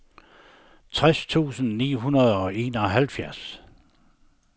tres tusind ni hundrede og enoghalvfjerds